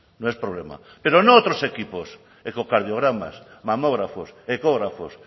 no es problema pero no otros equipos ecogardiogramas mamógrafos ecógrafos